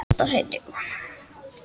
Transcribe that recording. Misjöfn ævi er best.